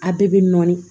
A bɛɛ bɛ nɔɔni